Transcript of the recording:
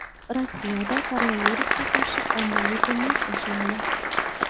Rossiyada koronavirusga qarshi ommaviy emlash boshlandi.